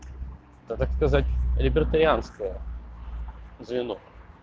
это так сказать либертарианское звено